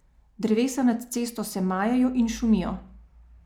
Drevesa nad cesto se majejo in šumijo.